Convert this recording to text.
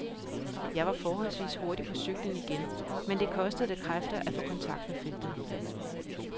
Jeg var forholdsvis hurtigt på cyklen igen, men det kostede da kræfter at få kontakt med feltet.